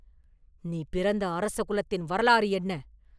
“நீ பிறந்த அரச குலத்தின் வரலாறு என்ன?